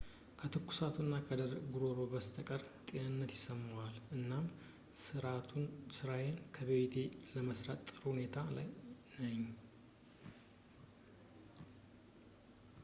ከትኩሳቱ እና ከደረቅ ጉሮሮ በስተቀር ጤንነት ይሰማኛል እናም ስራዬን ከቤቴ ለመስራት በጥሩ ሁኔታ ላይ ነኝ